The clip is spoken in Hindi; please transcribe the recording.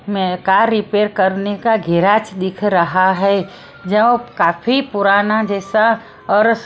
में कार रिपेयर करने का गेराज दिख रहा है जो काफी पुराना जैसा और--